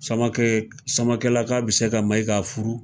Samake, Samakelaka be se ka Mayiga furu.